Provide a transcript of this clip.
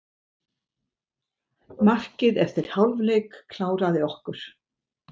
Markið eftir hálfleik kláraði okkur.